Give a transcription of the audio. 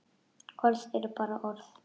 Orð eru bara orð.